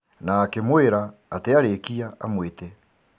Na akĩmwĩra atĩ arĩkia amwĩte.